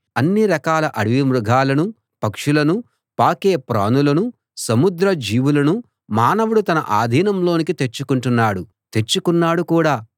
అన్ని రకాల అడవి మృగాలను పక్షులను పాకే ప్రాణులను సముద్ర జీవులను మానవుడు తన ఆధీనంలోకి తెచ్చుకుంటున్నాడు తెచ్చుకున్నాడు కూడా